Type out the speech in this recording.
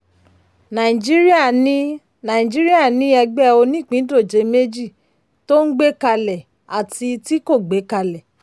nàìjíríà ní nàìjíríà ní ẹgbẹ̀ onípìndòjé méjì: tó ń gbé kalẹ̀ àti tí kò gbé kalẹ̀.